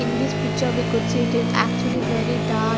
In this picture we could see it is actually very dark.